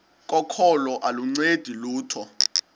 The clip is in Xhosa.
kokholo aluncedi lutho